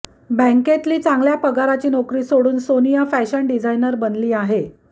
बँकेतली चांगल्या पगाराची नोकरी सोडून सोनिया फॅशन डिझायनर बनली आहे